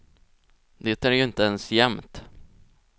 Det är ju inte ens jämnt.